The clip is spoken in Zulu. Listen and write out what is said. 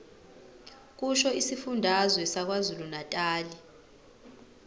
kusho isifundazwe sakwazulunatali